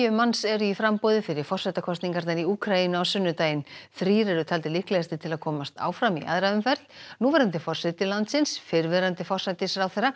manns eru í framboði fyrir forsetakosningarnar í Úkraínu á sunnudaginn þrír eru taldir líklegastir til að komast áfram í aðra umferð núverandi forseti landsins fyrrverandi forsætisráðherra